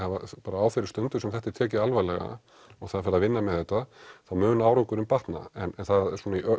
á þeirri stundu sem þetta er tekið alvarlega og það er farið að vinna með þetta þá mun árangurinn batna en í